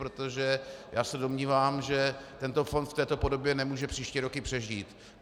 Protože já se domnívám, že tento fond v této podobě nemůže příští roky přežít.